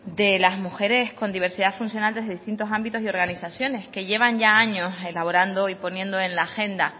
de las mujeres con diversidad funcional desde distintos ámbitos y organizaciones que llevan ya años elaborando y poniendo en la agenda